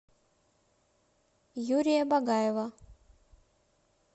юрия багаева